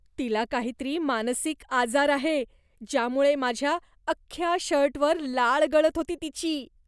तिला काहीतरी मानसिक आजार आहे, ज्यामुळे माझ्या अख्ख्या शर्टवर लाळ गळत होती तिची.